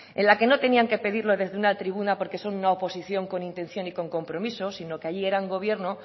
en la que no tenían que pedirlo desde una tribuna porque son una oposición con intención y con compromiso sino que allí eran gobierno